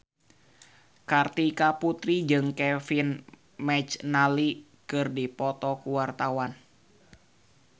Kartika Putri jeung Kevin McNally keur dipoto ku wartawan